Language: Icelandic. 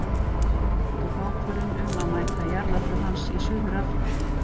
Ég tók ákvörðun um að mæta í jarðarför hans í Suður-Afríku.